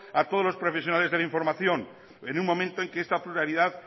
a todos los profesionales de la información en un momento en que esta pluralidad